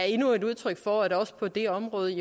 endnu et udtryk for at også på det område